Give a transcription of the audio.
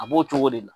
A b'o cogo de la